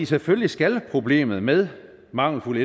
selvfølgelig skal problemet med mangelfuld